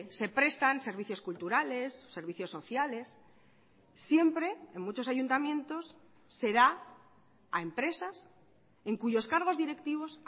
se prestan servicios culturales servicios sociales siempre en muchos ayuntamientos será a empresas en cuyos cargos directivos